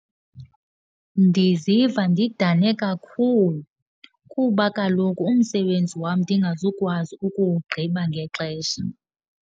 Ndiziva ndidane kakhulu kuba kaloku umsebenzi wam ndingazukwazi ukuwugqiba ngexesha.